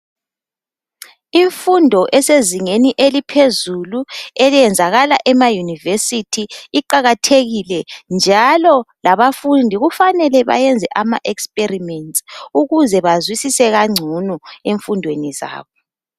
Imfundo esezingeni eliphezulu eliyenzakala ema University iqakathekile njalo labafundi kufanele bayenze ama experiments ukuze bazwisise kangcono emfundweni zabo.